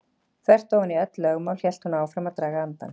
Þvert ofan í öll lögmál hélt hún áfram að draga andann.